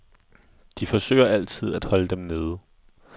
De forsøger altid at holde dem nede.